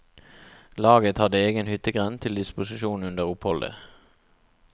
Laget hadde egen hyttegrend til disposisjon under oppholdet.